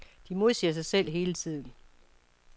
De modsiger sig selv hele tiden.